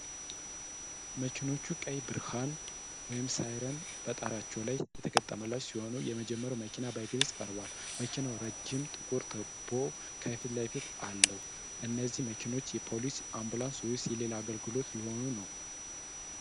መኪናዎቹ ቀይ ብርሃን (ሳይረን) በጣሪያቸው ላይ የተገጠመላቸው ሲሆን፣ የመጀመሪያው መኪና በግልጽ ቀርቧል። መኪናው ረዥም ጥቁር ቱቦ ከፊት ለፊት አለው። እነዚህ መኪናዎች የፖሊስ፣ የአምቡላንስ ወይስ የሌላ አገልግሎት ሊሆኑ ነው?